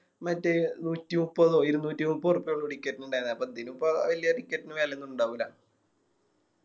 മറ്റേ നൂറ്റിമുപ്പതോ ഇരുന്നൂറ്റി മുപ്പഓർപ്പിയോള്ളൂ Ticket ന് ഇണ്ടായിന്നെ അപ്പൊ ഇതിനിപ്പോ Ticket ന് വല്യ വേലയൊന്നും ഇണ്ടാവൂല